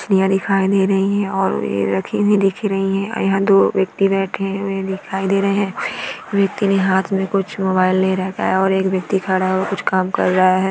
मछलियाँ दिखाई दे रही हैं और ये रखी हुई दिख रही है और यहाँ दो व्यक्ति बैठे हुए दिखाई दे रहे हैं और एक व्यक्ति ने हाथ मे कुछ मोबाइल ले रखा है और एक व्यक्ति खड़ा होकर हुआ कुछ काम कर रहा है।